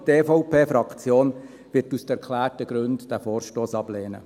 Die EVP-Fraktion wird diesen Vorstoss aus den genannten Gründen ablehnen.